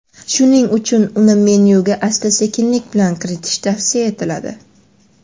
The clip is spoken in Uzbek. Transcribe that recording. shuning uchun uni menyuga asta-sekinlik bilan kiritish tavsiya etiladi.